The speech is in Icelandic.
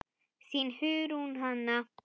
Þín, Hugrún Hanna.